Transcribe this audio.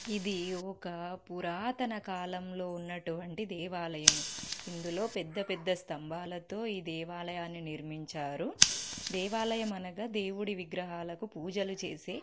ఇది ఒక పురాతన కాలంలో ఉన్నటువంటి దేవాలయము. ఇందులో పెద్దపెద్ద స్తంభాలతో ఈ దేవాలయాన్ని నిర్మించారు. దేవాలయం అనగా దేవుడి విగ్రహాలకి పూజలు చేసి --